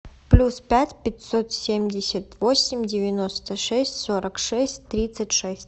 плюс пять пятьсот семьдесят восемь девяносто шесть сорок шесть тридцать шесть